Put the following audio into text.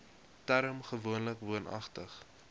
term gewoonlik woonagtig